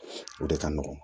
O de ka nɔgɔn